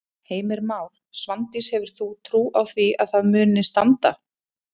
Heimir Már: Svandís hefur þú trú á því að það muni standa?